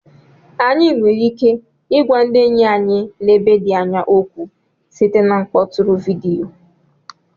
Anyị nwere ike ịgwa ndị enyi anyị nọ ebe dị anya okwu site na mkpọtụrụ vidiyo